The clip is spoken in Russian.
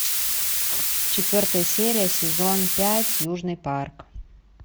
четвертая серия сезон пять южный парк